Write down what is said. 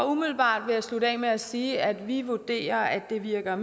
umiddelbart vil jeg slutte af med at sige at vi vurderer at det virker